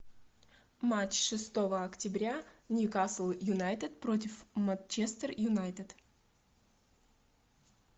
матч шестого октября ньюкасл юнайтед против манчестер юнайтед